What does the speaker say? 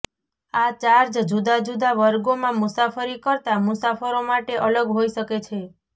આ ચાર્જ જુદા જુદા વર્ગોમાં મુસાફરી કરતા મુસાફરો માટે અલગ હોઈ શકે છે